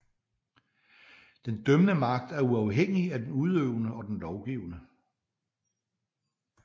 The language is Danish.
Den dømmende magt er uafhængig af den udøvende og den lovgivende